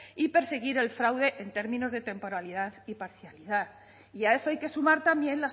y perseguir el fraude en términos de temporalidad y parcialidad y a eso hay que sumar también